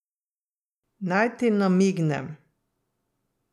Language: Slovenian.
Naj ti namignem.